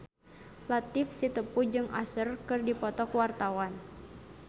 Latief Sitepu jeung Usher keur dipoto ku wartawan